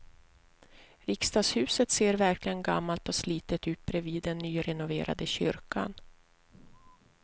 Riksdagshuset ser verkligen gammalt och slitet ut bredvid den nyrenoverade kyrkan.